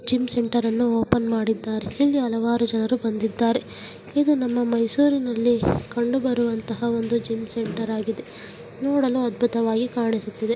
Gym ಸೆಂಟರನ್ನು open ಮಾಡಿದ್ದಾರೆ ಇಲ್ಲಿ ಹಲವಾರು ಜನರು ಬಂದಿದ್ದಾರೆ ಇದು ನಮ್ಮ ಮೈಸೂರಿನಲ್ಲಿ ಕಂಡು ಬರುವಂತಹ ಒಂದು ಜಿಮ್ ಸೆಂಟರ್ ಆಗಿದೆ ನೋಡಲು ಅದ್ಭುತವಾಗಿ ಕಾಣಿಸುತ್ತಿದೆ.